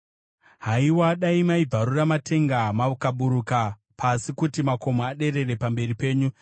Haiwa, dai maibvarura matenga mukaburuka pasi, kuti makomo adedere pamberi penyu!